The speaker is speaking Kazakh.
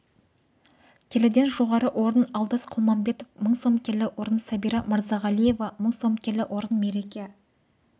келіден жоғары орын алдос құлманбетов мың сом келі орын сәбира мырзағалиева мың сом келі орын мереке